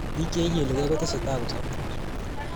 Biik Che ikilegei kotesetai kosuptos